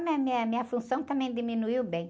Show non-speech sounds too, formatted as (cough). (unintelligible) a minha função também diminuiu bem.